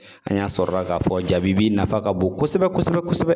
An y'a sɔrɔla k'a fɔ jabibi nafa ka bon kosɛbɛ kosɛbɛ kosɛbɛ.